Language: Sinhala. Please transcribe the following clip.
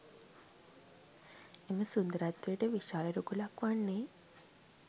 එම සුන්දරත්වයට විශාල රුකුලක් වන්නේ